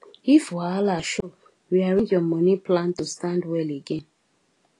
if wahala show rearrange your money plan to stand well again